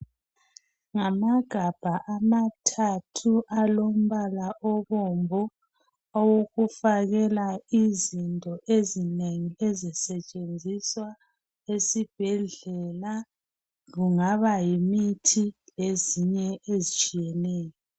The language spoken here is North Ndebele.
ngamagabha amathathu alombala obomvu awokufakela izinto ezinengi ezisetshenziswa esibhedlela kungaba yimithi lezinye ezitshiyeneyo